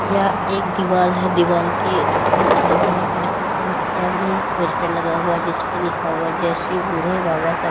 यह एक दीवाल है दीवाल के ऊपर लिखा हुआ है अल्ट्राटेक उसके आगे एक पोस्टर लगा हुआ है जिसपे लिखा हुआ जय श्री बूढे बाबा सर--